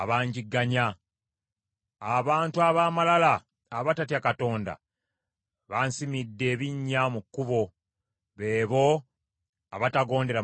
Abantu ab’amalala abatatya Katonda bansimidde ebinnya mu kkubo; be bo abatagondera mateeka go.